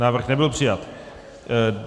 Návrh nebyl přijat.